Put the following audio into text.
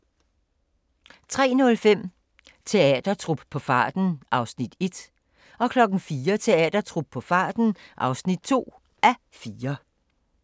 03:05: Teatertrup på farten (1:4) 04:00: Teatertrup på farten (2:4)